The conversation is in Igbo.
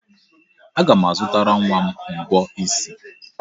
Aga m azụtara nwa m mbọ isi.